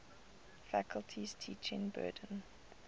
faculty's teaching burden